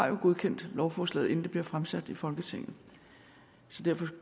jo har godkendt lovforslaget inden det blev fremsat i folketinget så derfor